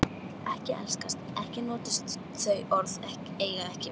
Ekki elskast, ekki notist þau orð eiga ekki við.